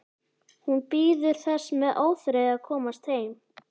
Hún bíður þess með óþreyju að komast heim.